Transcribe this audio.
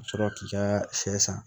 Ka sɔrɔ k'i ka sɛ san